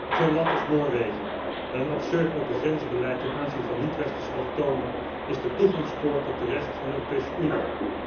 Een land als Noorwegen, met een absurd opengrenzenbeleid ten aanzien van niet westerse allochtonen, is de toegangspoort tot de rest van de Europese Unie.